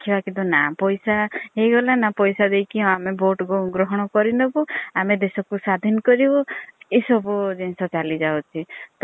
କିନ୍ତୁ ନାଁ ପଇସା ହେଇଗଲା ପଇସା ଦେଇକି ଆମେ vote ଗ୍ରହଣ କରିନେବୁ ଆମେ ଦେଶ କୁ ସ୍ୱାଧିନ୍‌ କରିବୁ ଏସବୁ ଜିନିଷ ଚାଲିଯାଉଛି।